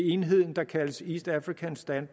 enheden der kaldes east african stand